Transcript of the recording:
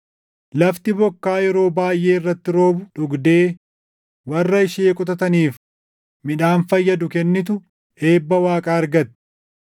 Lafti bokkaa yeroo baayʼee irratti roobu dhugdee warra ishee qotataniif midhaan fayyadu kennitu eebba Waaqaa argatti.